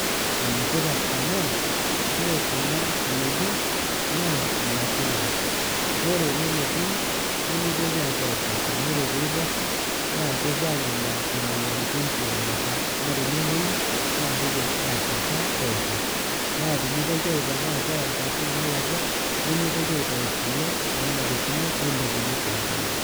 Enetipat amu ore kuna kinejik na nekule ore ene netii nimitoki apuo aiposha amu ore peiposha na kepuo angamaa imoyiaritin tiongata na tenemoyu na kidim atuata pooki na tinitoki aipang apuo nkwapi nalakwa nemwitoki aitau kule nanarikino nelepi tenkolong.